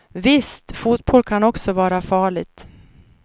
Visst, fotboll kan också vara farligt.